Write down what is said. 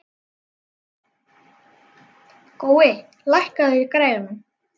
Gói, lækkaðu í græjunum.